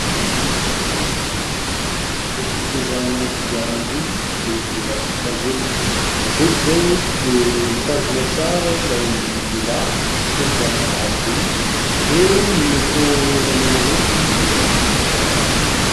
Ny fitondrana kodiaran-droa dia mila fitandremana. Eto izao dia mitandrina tsara ilay lehilahy ; mitondra aro loha ; dia ny moto menamena entiny moa dia mahafinaritra rahateo.